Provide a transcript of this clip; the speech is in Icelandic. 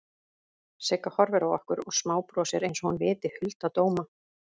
Sigga horfir á okkur og smábrosir einsog hún viti hulda dóma.